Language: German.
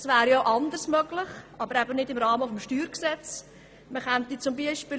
Es wäre auch anderes möglich, aber nicht im Rahmen des Steuergesetzes.